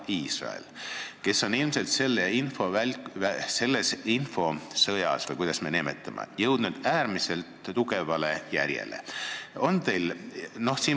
Iisrael on selles infosõjas – või kuidas me seda nimetame – äärmiselt tugevale järjele jõudnud.